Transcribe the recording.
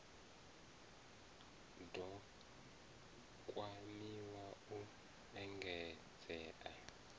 d o kwamiwa u engedzea